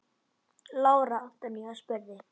Lára Antonía spurði.